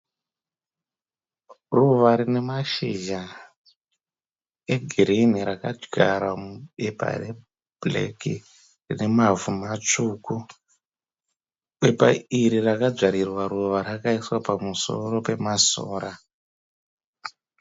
Ruva rinemashizha egirini raka zvarwa mupaper re bhureki rinemavu masvuku. Pepha iri rakazvarirwa ruva rakaiswa pamusoro pema sora.